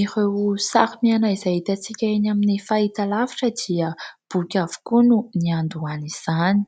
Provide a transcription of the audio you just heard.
Ireo sary miaina izay hitantsika eny amin'ny fahitalavitra dia boky avokoa no niandohany izany.